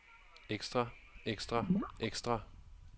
ekstra ekstra ekstra